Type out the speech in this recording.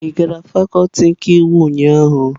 Ị gara fakuti nke ụnyahụ?